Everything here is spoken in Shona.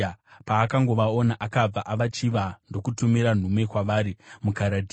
Paakangovaona, akabva avachiva ndokutumira nhume kwavari muKaradhea.